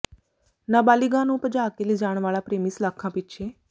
ਨਾਬਾਲਿਗਾ ਨੂੰ ਭਜਾ ਕੇ ਲਿਜਾਣ ਵਾਲਾ ਪ੍ਰਰੇਮੀ ਸਲਾਖ਼ਾਂ ਪਿੱਛੇ